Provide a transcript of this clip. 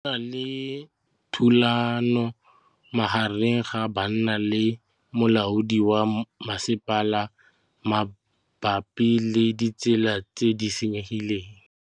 Go na le thulanô magareng ga banna le molaodi wa masepala mabapi le ditsela tse di senyegileng.